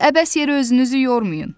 Əbəs yerə özünüzü yormayın.